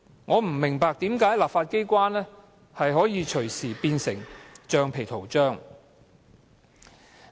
我不明白為何立法機關可以隨時變成橡皮圖章。